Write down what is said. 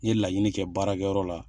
N ye laɲini kɛ baarakɛyɔrɔ la